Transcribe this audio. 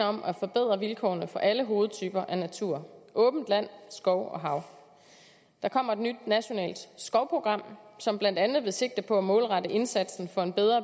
om at forbedre vilkårene for alle hovedtyper af natur åbent land skov og hav der kommer et nyt nationalt skovprogram som blandt andet vil sigte på at målrette indsatsen for en bedre